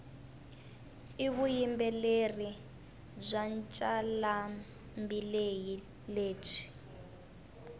ivuyimbeleri bwancalambileyi lebwi